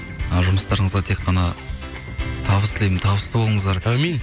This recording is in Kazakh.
ы жұмыстарыңызға тек қана табыс тілеймін табысты болыңыздар әумин